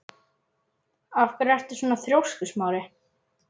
Af hverju ertu svona þrjóskur, Smári?